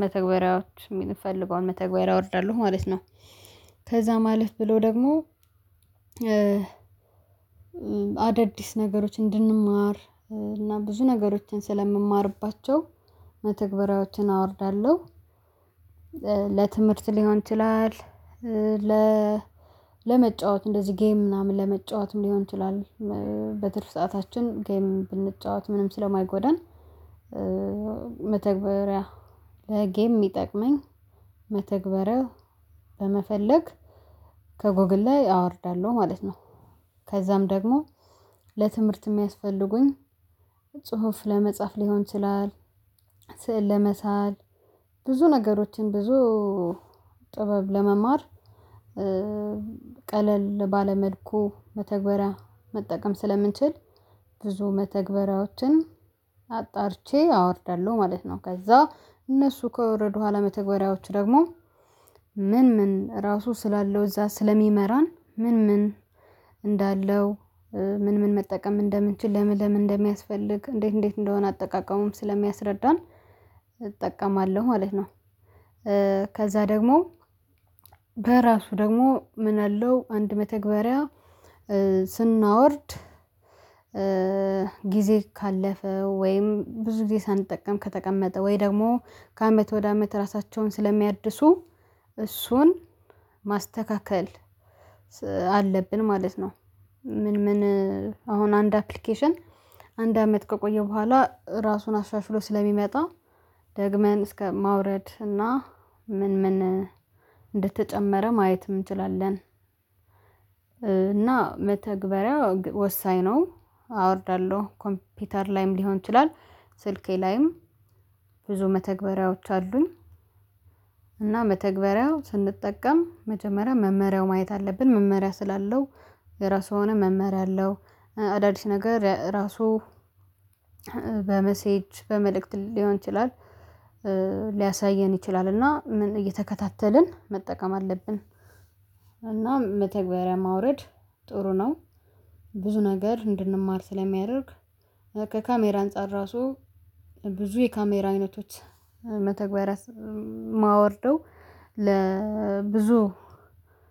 መተግበሪያዎች የምንፈልገውን መተግበሪያ አወርዳለሁ ማለት ነው። ከዛም አለፍ ብሎ ደግሞ አዳዲስ ነገሮችን እንድንማር እና ብዙ ነገሮችን ስለምማርባቸው መተግበሪያዎችን አወርዳለሁ። ለትምህርት ሊሆን ይችላል። ለመጫወት እንደዚህ ጌም ምናምን ለመጫወትም ሊሆን ይችላል። በትርፍ ሰዓታችን ጌም ብንጫወት ምንም ስለማይጎዳን መተግበሪያ ለጌም የሚጠቅመኝ መተግበሪያ በመፈለግ ከጎግል ላይ አወርዳለሁ ማለት ነው። ከዛም ደግሞ ለትምህርት የሚያስፈልጉኝ ጽሁፍ ለመጻፍ ሊሆን ይችላል። ስዕል ለመሳል ብዙ ነገሮችን ብዙ ጥበብ ለመማር ቀለል ባለመልኩ መተግበሪያ መጠቀም ስለምንችል ብዙ መተግበራዎችን አጣርቼ አወርዳለሁ ማለት ነው። ከዛ እነሱ ከወረዱ ኋላ መተግበሪያዎቹ ደግሞ ምን ምን ራሱ ስላለው እዛ ስለሚመራን ምን ምን እንዳለው ምን ምን መጠቀም እንደምንችል ለምን ለምን እንደሚያስፈልግ እንዴት እንዴት እንደሆነ አጠቃቀሙም ስለሚያስረዳን እጠቀማለሁ። ማለት ነው። ከዛ ደግሞ በራሱ ደግሞ ምን አለው አንድ መተግበሪያ ስናወርድ ጊዜ ካለፈ ወይም ብዙ ጊዜ ሳንጠቀም ከተቀመጠ ወይ ደግሞ ከአመት ወደ አመት ራሳቸውን ስለሚያድሱ እሱን ማስተካከል አለብን። ማለት ነው ምን ምን አሁን አንድ አፕሊኬሽን አንድ አመት ከቆየው በኋላ ራሱን አሻሽሎ ስለሚመጣ ደግመን እስከ ማውረድ እና ምን ምን እንደተጨመረ ማየት እንችላለን። እና መተግበሪያ ወሳኝ ነው። አወርዳለሁ ኮምፒውተር ላይም ሊሆን ይችላል ስልኬ ላይም ብዙ መተግበሪያዎች አሉኝ። እና መተግበሪያው ስንጠቀም መጀመሪያ መመሪያው ማየት አለብን መመሪያ ስላለው የራሱ ሆነ መመሪያ አለው። አዳዲስ ነገር ራሱ በመሴጅ በመልእክት ሊሆን ይችላል ሊያሳየን ይችላል እና እየተከታተልን መጠቀም አለብን። እና መተግበሪያ ማውረድ ጥሩ ነው። ብዙ ነገር እንድንማር ስለሚያደርግ ከካሜራ አንፃር ራሱ ብዙ የካሜራ አይነቶች መተግበሪያ የማወርደው ለብዙ